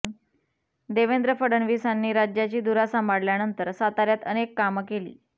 देवेंद्र फडणवीसांनी राज्याची धुरा सांभाळल्यानंतर साताऱ्यात अनेक कामं केली